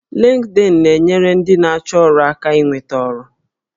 Linkedin na-enyere ndị na-achọ ọrụ aka inweta ọrụ